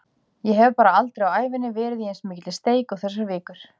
Ég hef bara aldrei á ævinni verið í eins mikilli steik og þessar vikur.